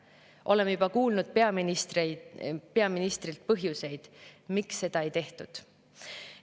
Oleme juba kuulnud peaministrilt põhjuseid, miks seda ei tehtud.